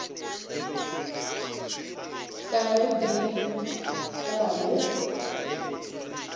ka ge di tla be